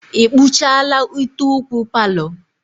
Ị kpuchala ute ụkwụ palọ?